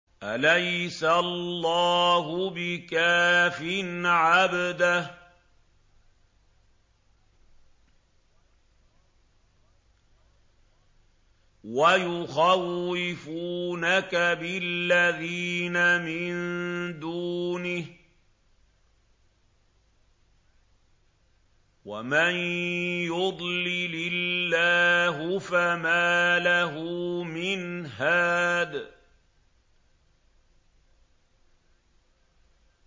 أَلَيْسَ اللَّهُ بِكَافٍ عَبْدَهُ ۖ وَيُخَوِّفُونَكَ بِالَّذِينَ مِن دُونِهِ ۚ وَمَن يُضْلِلِ اللَّهُ فَمَا لَهُ مِنْ هَادٍ